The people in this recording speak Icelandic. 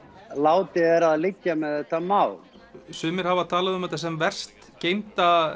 látið er af liggja með þetta mál sumir hafa talað um þetta sem verst geymda